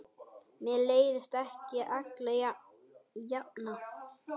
Mér leiðist ekki alla jafna.